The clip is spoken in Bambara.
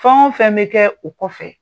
Fɛn o fɛn bɛ kɛ, o kɔ fɛ.